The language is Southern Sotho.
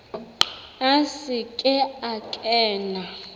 a se ke a kena